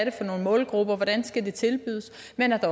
er for nogle målgrupper af hvordan det skal tilbydes